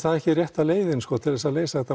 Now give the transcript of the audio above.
það ekki rétta leiðin til þess að leysa þetta